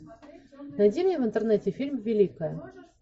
найди мне в интернете фильм великая